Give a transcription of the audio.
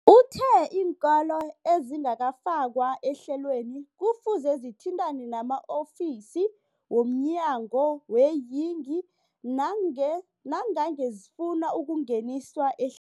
Uthe iinkolo ezingakafakwa ehlelweneli kufuze zithintane nama-ofisi wo mnyango weeyingi nange nangange zifuna ukungeniswa ehlelweni.